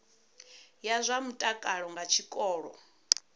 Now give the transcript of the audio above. ya zwa mutakalo nga tshikolo